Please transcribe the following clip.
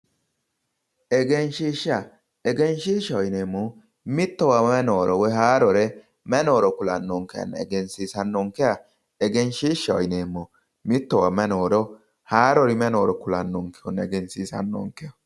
Egenshiishsha, egenshiishshaho yineemmohu mittowa may nooro haarore may nooro egensiisannonkeha egenshiishshaho yineemmo, mittowa may nooro, haaruri may nooro kulannoha egensiisannonkeho.